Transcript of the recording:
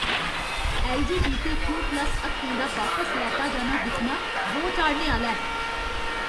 LGBTQ. Plus हक्कें दा बापस लैता जाना दिक्खना रोह् चाढ़ने आह्‌ला ऐ।